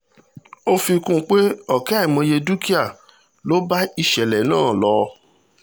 ó fi kún un pé ọ̀kẹ́ àìmọye dúkìá ló bá ìṣẹ̀lẹ̀ iná náà lọ